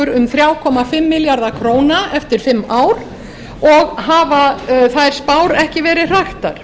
um þrjú komma fimm milljarða króna eftir fimm ár og hafa þær spár ekki verið hraktar